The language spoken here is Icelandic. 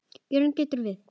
Jörð getur átt við